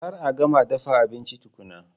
Kar a gama dafa abinci tukuna!